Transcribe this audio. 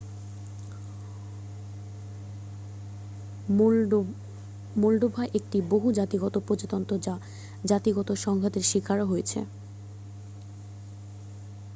Moldova একটি বহু-জাতিগত প্রজাতন্ত্র যা জাতিগত সংঘাতের শিকার হয়েছে